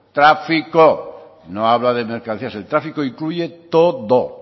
tráfico no habla de mercancías el tráfico incluye todo